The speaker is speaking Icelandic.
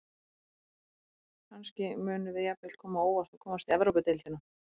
Kannski munum við jafnvel koma á óvart og komast í Evrópudeildina.